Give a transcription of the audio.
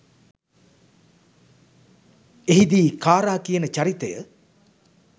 එහිදී කාරා කියන චරිතය